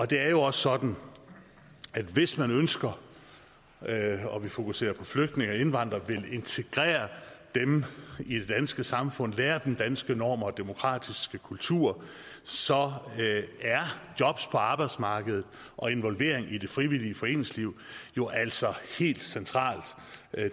det er jo også sådan at hvis man ønsker at fokusere på flygtninge og indvandrere og vil integrere dem i det danske samfund lære dem danske normer og den demokratiske kultur så er jobs på arbejdsmarkedet og involvering i det frivillige foreningsliv jo altså helt centralt